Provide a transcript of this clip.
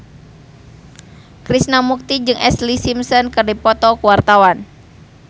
Krishna Mukti jeung Ashlee Simpson keur dipoto ku wartawan